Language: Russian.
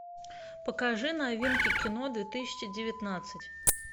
покажи новинки кино две тысячи девятнадцать